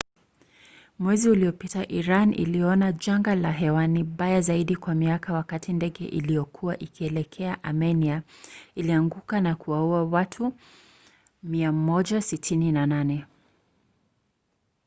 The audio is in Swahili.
mwezi uliopita iran iliona janga la hewani baya zaidi kwa miaka wakati ndege iliyokuwa ikielekea amenia ilianguka na kuwaua watu wote 168